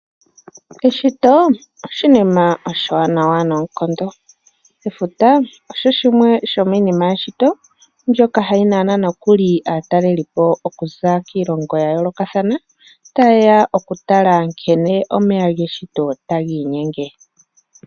Eshito oshinima oshiwanawa noonkondo. Efuta osho shimwe shomiinima yeshito mbyoka hayi nana nokuli aatalelipo okuza kiilongo ya yoolokathana taye ya okutala nkene omeya geshito tagi inyenge.